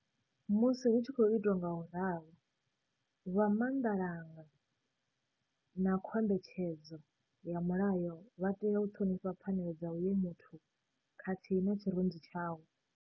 Musi hu tshi khou itwa ngauralo, vha maanḓalanga a khombetshedzo ya mulayo vha tea u ṱhonifha pfanelo dza uyo muthu khathihi na tshirunzi tshawe.